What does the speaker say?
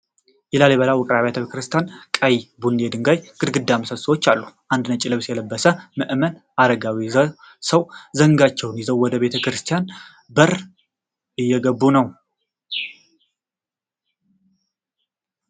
የላሊበላ ውቅር ቤተ ክርስቲያን ቀይ-ቡኒ የድንጋይ ግድግዳና ምሰሶዎች አሉ። አንድ ነጭ ልብስ የለበሰ ምዕመን አረጋዊ ሰው ዘንጋቸውን ይዘው ወደ ቤተ ክርስቲያኑ በር እየገቡ ነው።